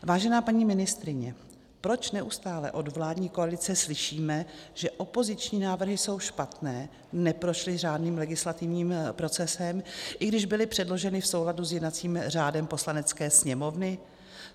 Vážená paní ministryně, proč neustále od vládní koalice slyšíme, že opoziční návrhy jsou špatné, neprošly řádným legislativním procesem, i když byly předloženy v souladu s jednacím řádem Poslanecké sněmovny?